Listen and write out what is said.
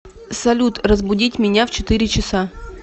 салют разбудить меня в четыре часа